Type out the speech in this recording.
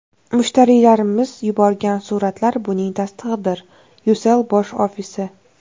Mushtariylarimiz yuborgan suratlar buning tasdig‘idir: Ucell bosh ofisi.